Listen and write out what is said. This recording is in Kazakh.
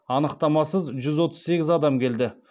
анықтамасыз жүз отыз сегіз адам келді